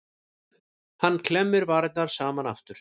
Hann klemmdi varirnar saman aftur.